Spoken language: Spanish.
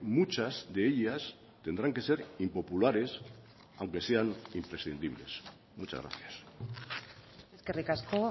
muchas de ellas tendrán que ser impopulares aunque sean imprescindibles muchas gracias eskerrik asko